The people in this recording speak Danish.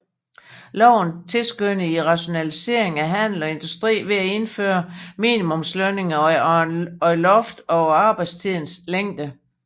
Loven tilskyndede til rationalisering af handel og industri ved at indføre minimumslønninger og et loft på arbejdstidens længde